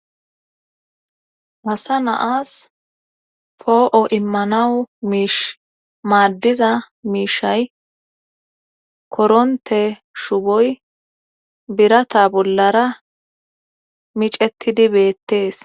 wasa naas poo7o immanawu miish maaddiza miishay koronte shuboy birata bollara micettidi beettees